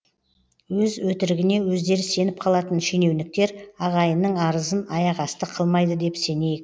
өз өтірігіне өздері сеніп қалатын шенеуніктер ағайынның арызын аяқасты қылмайды деп сенейік